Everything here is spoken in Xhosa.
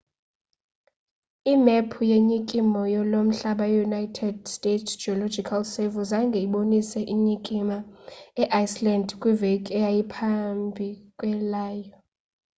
imephu ye nyikimo lomhlaba yeunited states geological survey zange ibonise zinyikima eiceland kwiveki eyayiphambi kwaleyo